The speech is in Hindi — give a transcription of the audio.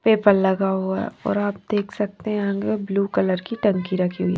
पेपर लगा हुआ है और आप देख सकते हैं आगे ब्लू कलर की टंकी रखी हुई।